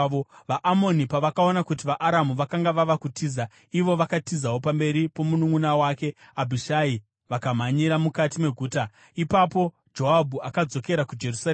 VaAmoni pavakaona kuti vaAramu vakanga vava kutiza, ivo vakatizawo pamberi pomununʼuna wake Abhishai vakamhanyira mukati meguta. Ipapo Joabhu akadzokera kuJerusarema.